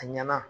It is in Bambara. A ɲɛna